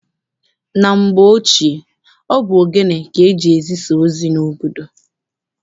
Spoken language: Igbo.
Na mgbe ochie, ọ bụ ogene ka eji-ezisa ozi n'obodo.